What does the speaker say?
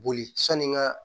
Boli sanni n ga